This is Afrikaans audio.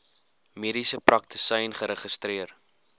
mediese praktisyn geregistreer